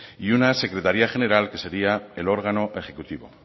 y una secretaria general que sería el órgano ejecutivo